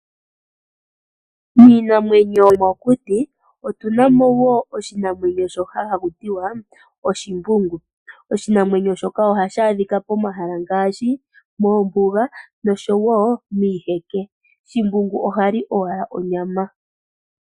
Miinamwenyo yomokuti otuna mo oshinamwenyo shoka hashi ithanwa shimbungu . Oshinamwenyo shoka ohashi adhikwa pomahala ngaashi moombuga noshowoo miiheke. Shimbungu ohali owala onyama.